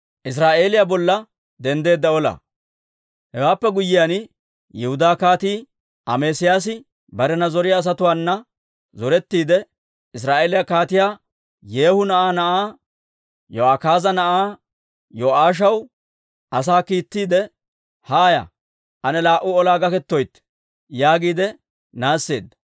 Hewaappe guyyiyaan, Yihudaa Kaatii Amesiyaasi barena zoriyaa asatuwaana zorettiide, Israa'eeliyaa Kaatiyaa Yeehu na'aa na'aa, Yo'akaaza na'aa, Yo'aashaw asaa kiittiide, «Haaya; ane laa"u olaa gakkettoytte» yaagiide naasseedda.